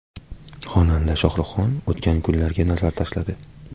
Xonanda Shohruxxon o‘tgan kunlarga nazar tashladi.